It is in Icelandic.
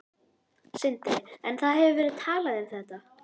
Sindri: En það hefur verið talað um þetta?